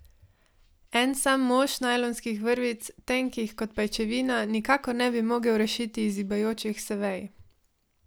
En sam mož najlonskih vrvic, tenkih kot pajčevina, nikakor ne bi mogel rešiti iz zibajočih se vej.